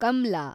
Kamla